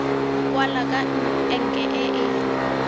kwala ka enke e e